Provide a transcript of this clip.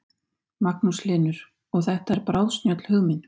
Magnús Hlynur: Og þetta er bráðsnjöll hugmynd?